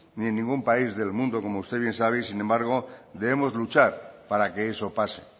ni en ningún país del mundo y sin embargo debemos luchar para que eso pase